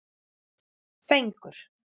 Fengur